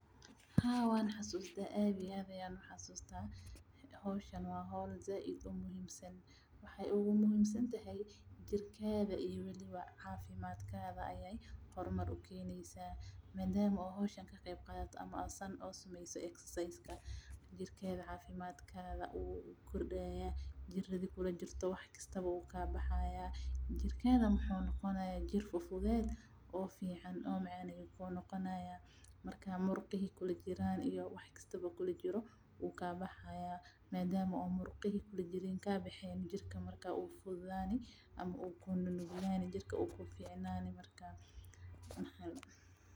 Haa waan xasuusta aad iyo aad howshan waa howl aad muhiim u ah jirkaada iyo cafimaadka ayeey hor mar ukeneysa jirkada jiradi kujire wuu baxaaya murqaha waay baxaayan madama murqaha aay baxeen jirka wuu kuu nuglaani Marka.